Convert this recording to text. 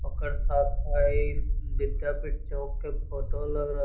ओकर साथ विद्यापीठ चौक के फोटो लग रह --